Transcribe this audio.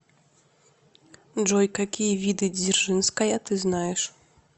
джой какие виды дзержинская ты знаешь